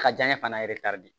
A ka janɲɛ fana de